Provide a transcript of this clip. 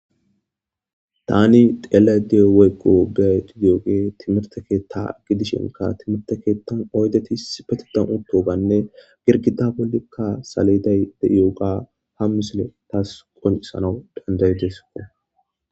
Tani xelayde dee'zaysi timirte keta gidishin, timirte ketan oydeti issipetetan utidaysi girgida bolla saleday